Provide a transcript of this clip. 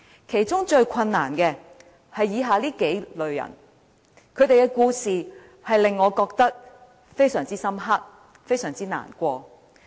其中最困難的，是以下數類人，他們的故事，令我印象非常深刻和感到難過。